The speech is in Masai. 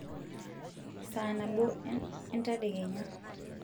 saa nabo entedekenya